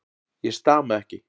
Ég stama ekki.